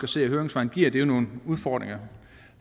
se af høringssvarene giver det jo nogle udfordringer